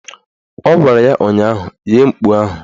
Ọ gwara ya ụnyaahụ "Ghee mkpu ahụ"!